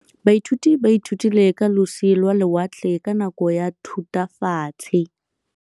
Baithuti ba ithutile ka losi lwa lewatle ka nako ya Thutafatshe.